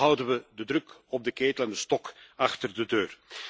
Zo houden we de druk op de ketel en de stok achter de deur.